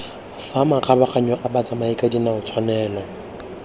fa makgabaganyong a batsamayakadinao tshwanelo